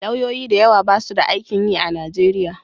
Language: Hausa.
Lauyoyi da yawa basu da aikin yi a Nigeria.